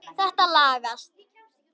Þetta lagast.